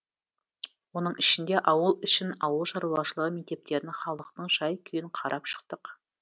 оның ішінде ауыл ішін ауыл шаруашылығын мектептерін халықтың жай күйін қарап шықтық